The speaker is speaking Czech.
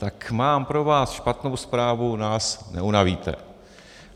Tak mám pro vás špatnou zprávu, nás neunavíte.